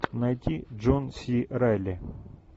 найти джон си райли